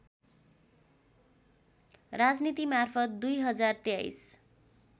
राजनीति मार्फत २०२३